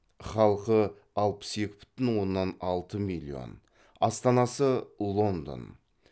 халқы алпыс екі бүтін оннан алты миллион астанасы лондон